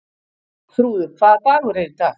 Þrúður, hvaða dagur er í dag?